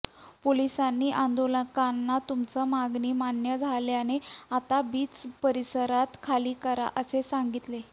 पोलिसांनी आंदोलकांना तुमची मागणी मान्य झाल्याने आता बीच परिसर खाली करा असे सांगितले